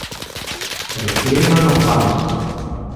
Preklemano Harmo.